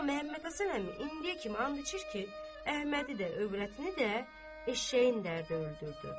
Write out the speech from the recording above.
Amma Məhəmməd Həsən Əmi indiyə kimi and içir ki, Əhmədi də, övrətini də eşəyin dərdi öldürdü.